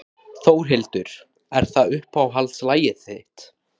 Þórhildur: Er það uppáhaldslagið þitt?